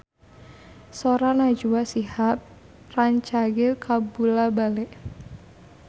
Sora Najwa Shihab rancage kabula-bale